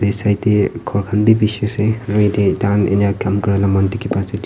ey side tey ghor khan wi bishi ase aru yatey taihan enia kaam kurila muihan dikhi pai ase--